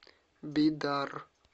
бидар